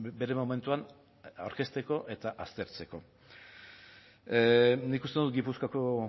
bere momentuan aurkezteko eta aztertzeko nik uste dut gipuzkoako